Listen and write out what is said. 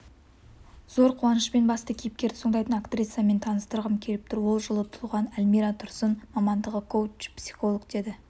зор қуанышпен басты кейіпкерді сомдайтын актрисамен таныстырғым келіп тұр олжылы туған әлмира тұрсын мамандығы коуч-псиіолог деді